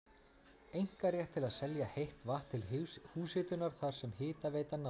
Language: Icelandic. einkarétt til að selja heitt vatn til húshitunar þar sem hitaveitan náði til.